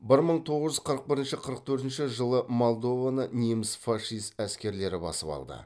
бір мың тоғыз жүз қырық бірінші қырық төртінші жылы молдованы неміс фашист әскерлері басып алды